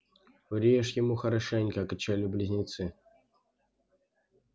врежь ему хорошенько кричали близнецы